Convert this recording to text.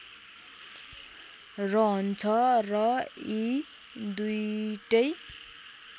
रहन्छ र यी दुईटै